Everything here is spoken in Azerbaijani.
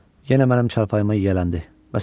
Yenə mənim çarpayım ona yələndi.